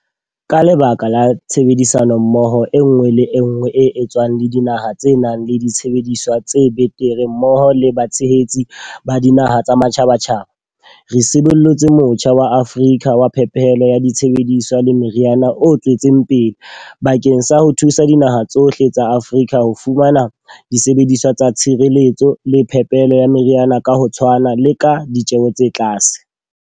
Ka lebaka la tshebedisano mmoho enngwe le enngwe e etswang le dinaha tse nang le disebediswa tse betere mmoho le batshehetsi ba dinaha tsa matjhabatjhaba, re sibollotse Motjha wa Afrika wa Phepelo ya Disebediswa le Meriana o tswetseng pele, bakeng sa ho thusa dinaha tsohle tsa Afrika ho fumana disebediswa tsa tshireletso le phepelo ya meriana ka ho tshwana le ka ditjeho tse tlase.